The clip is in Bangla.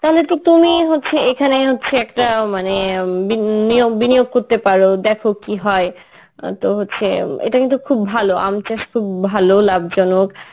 তাইলে তো তুমি হচ্ছে এখানে হচ্ছে একটা মানে অ্যাঁ বিন~ নিয়োগ~ বিনিয়োগ করতে পারো দেখো কী হয়, অ্যাঁ তো হচ্ছে এটা কিন্তু খুব ভালো আম চাষ খুব ভালো লাভজনক